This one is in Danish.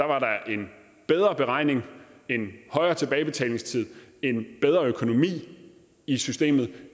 var der en bedre beregning en højere tilbagebetalingstid en bedre økonomi i systemet